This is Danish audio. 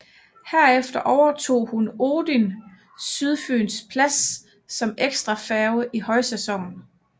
Herefter overtog hun Odin Sydfyens plads som ekstra færge i højsæsonen